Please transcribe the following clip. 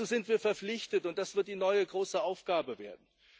Dazu sind wir verpflichtet, und das wird die neue große Aufgabe werden.